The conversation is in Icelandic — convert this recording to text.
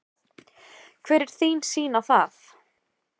Hver er þín sýn á það?